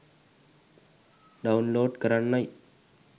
download කරන්නයි